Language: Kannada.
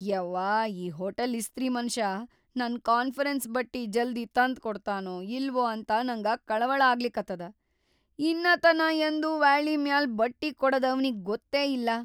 ಯವ್ವಾ ಈ ಹೋಟೆಲ್ ಇಸ್ತ್ರಿ ಮನಷಾ ನನ್‌ ಕಾನ್ಫರೆನ್ಸ್ ಬಟ್ಟಿ ಜಲ್ದಿ ತಂದ್ಕೊಡ್ತಾನೋ ಇಲ್ವೋ ಅಂತ ನಂಗ ಕಳವಳ ಆಗ್ಲಿಕತ್ತದ. ಇನ್ನಾತನಾ ಯಂದೂ ವ್ಯಾಳಿ ಮ್ಯಾಲ್ ಬಟ್ಟಿಕೊಡದ್ ಅವ್ನಿಗಿ ಗೊತ್ತೇ ಇಲ್ಲ .